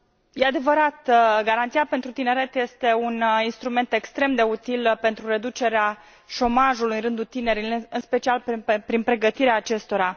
Este adevărat, Garanția pentru tineret este un instrument extrem de util pentru reducerea șomajului în rândul tinerilor, în special prin pregătirea acestora.